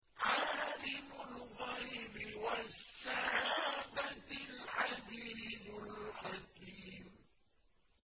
عَالِمُ الْغَيْبِ وَالشَّهَادَةِ الْعَزِيزُ الْحَكِيمُ